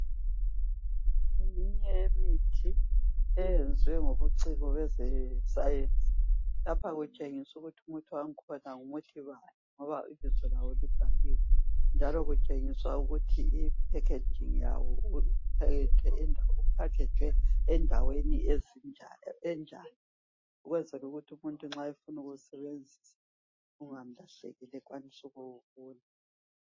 ngeminye yemithi eyenzwe ngobuciko bezescience lapha kutshengiswa ukuthi umuthi wakhona ngoba ibizo lawo libhaliwe nkalo kutshengiswa ukuthi i packaging yawo ku packajwe endaweni enjani ukwenzela ukuthi nxa umuntu efuna ukuwusebenzisa kungamlahlekeli ekhwanise ukuwubona